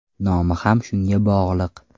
Nomi ham shunga bog‘liq.